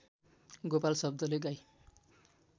गोपाल शब्दले गाई